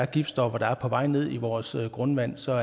giftstoffer der er på vej ned i vores grundvand så